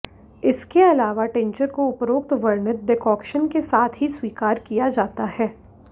इसके अलावा टिंचर को उपरोक्त वर्णित डेकोक्शन के साथ ही स्वीकार किया जाता है